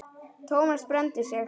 Thomas brenndi sig.